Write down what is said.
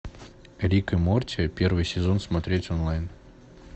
рик и морти первый сезон смотреть онлайн